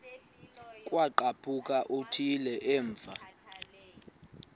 kwaqhaphuk uthuli evuma